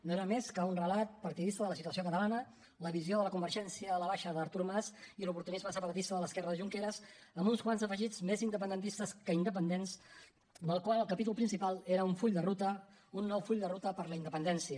no era més que un relat partidista de la situació catalana la visió de la convergència a la baixa d’artur mas i l’oportunisme separatista de l’esquerra de junqueras amb uns quants afegits més independentistes que independents amb el qual el capítol principal era un full de ruta un nou full de ruta cap a la independència